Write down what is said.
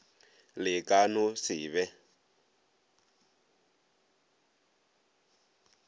le ka no se be